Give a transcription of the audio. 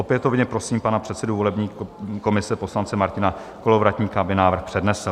Opětovně prosím pana předsedu volební komise, poslance Martina Kolovratníka, aby návrh přednesl.